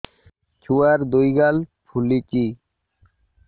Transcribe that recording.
ଛୁଆର୍ ଦୁଇ ଗାଲ ଫୁଲିଚି